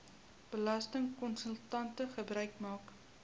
belastingkonsultante gebruik maak